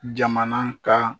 Jamana ka